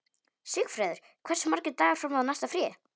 Sigfreður, hversu margir dagar fram að næsta fríi?